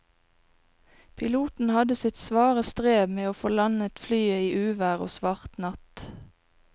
Piloten hadde sitt svare strev med å få landet flyet i uvær og svart natt.